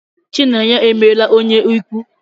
Chinenye emela onye ikwu.